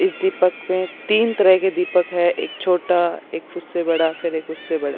इस दीपक में तीन तरह के दीपक है एक छोटा एक उससे बड़ा फिर एक उससे बड़ा।